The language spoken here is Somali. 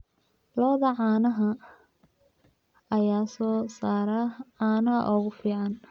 Lo'da caanaha ayaa soo saara caanaha ugu fiican.